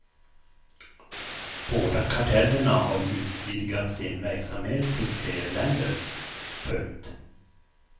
Båda kartellerna har utvidgat sin verksamhet till fler länder. punkt